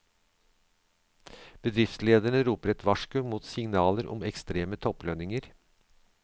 Bedriftslederne roper et varsko mot signaler om ekstreme topplønninger.